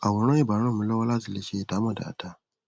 àwòrán ì bá ràn mí lọwọ látì lè ṣe ìdámọ dáada